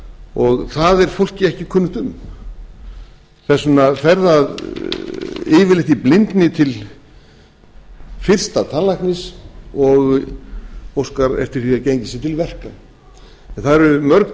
frjáls það er fólki ekki kunnugt um þess vegna fer að yfirleitt í blindni til fyrsta tannlæknis og óskar eftir því að gengið sé til verka en það eru mörg